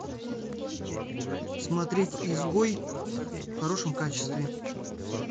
смотреть изгой в хорошем качестве